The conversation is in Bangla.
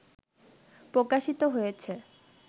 প্রকাশিত হয়েছে